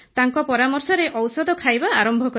ତାଙ୍କ ପରାମର୍ଶରେ ଔଷଧ ଖାଇବା ଆରମ୍ଭ କଲି